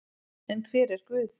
En hver er Guð?